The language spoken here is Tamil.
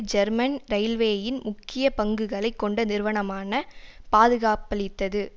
ஜெர்மன் இரயில்வேயின் முக்கிய பங்குகளை கொண்ட நிறுவனமான பாதுகாப்பளித்தது